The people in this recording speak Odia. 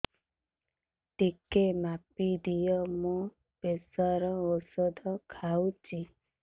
ଟିକେ ମାପିଦିଅ ମୁଁ ପ୍ରେସର ଔଷଧ ଖାଉଚି